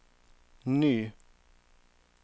ny